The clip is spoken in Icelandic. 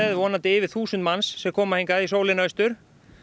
vonandi yfir þúsund manns sem koma hingað í sólina austur